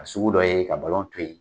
a sugu dɔ ye ka to yen.